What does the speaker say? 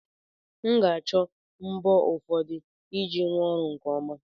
M ga-achọ mbọ ụfọdụ iji rụọ ọrụ a nke ọma